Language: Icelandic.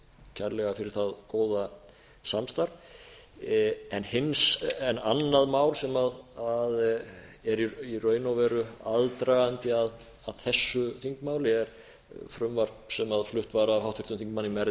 kærlega fyrir það góða samstarf annað mál sem er í raun og veru aðdragandi að þessu þingmáli er frumvarp sem flutt var af háttvirtum þingmanni merði